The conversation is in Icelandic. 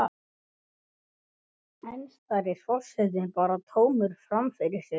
Enn starir forsetinn bara tómur fram fyrir sig.